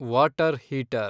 water heater